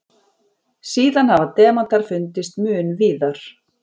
Síðan hafa demantar fundist mun víðar.